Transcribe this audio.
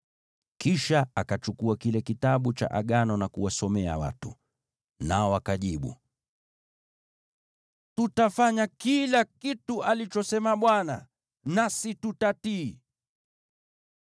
Kisha akachukua kile Kitabu cha Agano na kuwasomea watu. Nao wakajibu, “Tutafanya kila kitu alichosema Bwana , nasi tutatii.”